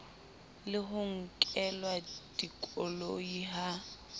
le ho nkelwa dikoloi ha